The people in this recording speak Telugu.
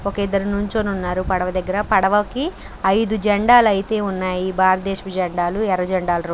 ఒక ఇద్దరు నిలుచుని ఉన్నారు. పడవ దగ్గర పడవ కి ఐదు జెండాలు అయితే ఉన్నాయి. భారతదేశపు జెండాలు ఎర్రజెండాలు రెండు--